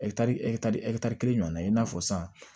ɛkitari kelen ɲɔgɔnna i n'a fɔ san